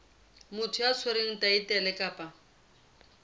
motho ya tshwereng thaetlele kapa